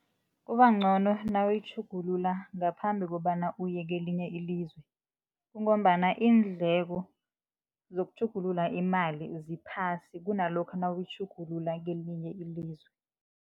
Kubancono nawuyitjhugulula ngaphambi kobana uye kelinye ilizwe kungombana iindleko zokutjhugulula imali ziphasi kunalokha nawuyitjhugulula kelinye ilizwe.